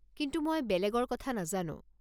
কিন্তু মই বেলেগৰ কথা নাজানো।